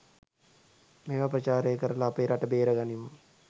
මේව ප්‍රචාරය කරල අපේ රට බේරගනිමු